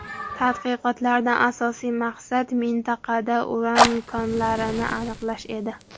Tadqiqotlardan asosiy maqsad mintaqada uran konlarini aniqlash edi.